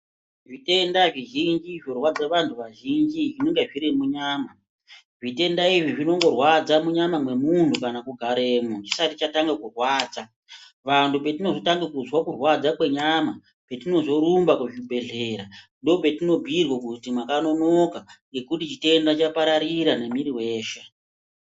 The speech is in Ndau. Zvitenda zvizhinji zvorwadza vanhu vazhinji zvinonga zviri munyama, zvitenda izvi zvinongorwadza munyama mwemunhu kana kugaremo chisati chatanga kurwadza vanhu patinozotanga kuzwa kurwadza kwenyama petinozorumba kuzvibhehlera ndipo patinozobhuirwa kuti mwakanonoka.